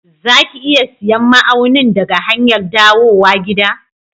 Za ki iya siyan ma'aunin daga hanyar dawowa gida?